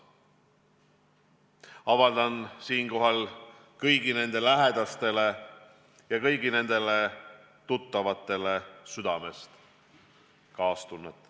Avaldan siinkohal kõigile nende lähedastele ja kõigile nende tuttavatele südamest kaastunnet.